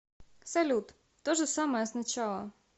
салют то же самое с начала